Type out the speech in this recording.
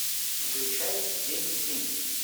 включай день денег